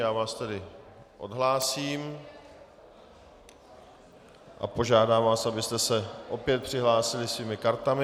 Já vás tedy odhlásím a požádám vás, abyste se opět přihlásili svými kartami.